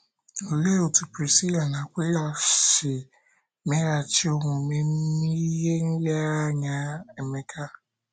Olee otú Prisila na Akwịla si meghachi omume n’ihe nlereanya Emeka?